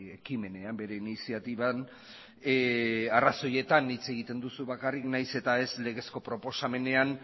ekimenean bere iniziatiban arrazoietan hitz egiten duzu bakarrik nahiz eta ez legezko proposamenean